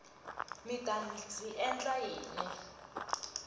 mi ta ndzi endla yini